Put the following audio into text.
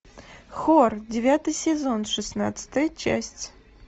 хор девятый сезон шестнадцатая часть